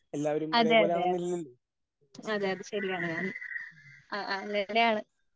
ആ അതേ അതേ അതേ അതേ ശരിയാണ് ഞാൻ